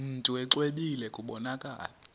mntu exwebile kubonakala